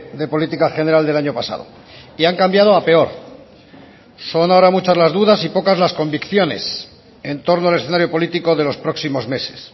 de política general del año pasado y han cambiado a peor son ahora muchas las dudas y pocas las convicciones en torno al escenario político de los próximos meses